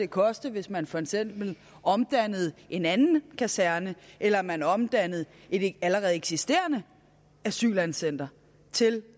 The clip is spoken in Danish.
koste hvis man for eksempel omdannede en anden kaserne eller man omdannede et allerede eksisterende asylcenter til